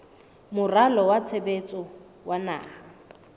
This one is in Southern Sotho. moralo wa tshebetso wa naha